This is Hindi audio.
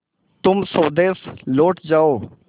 तुम स्वदेश लौट जाओ